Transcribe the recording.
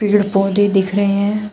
पेड़ पौधे दिख रहे हैं।